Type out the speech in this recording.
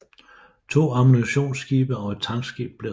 To ammunitionsskibe og et tankskib blev ramt